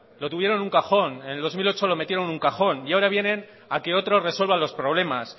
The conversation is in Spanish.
lo tuvieron en un cajón en el dos mil ocho lo metieron en un cajón y ahora vienen a que otros resuelvan los problemas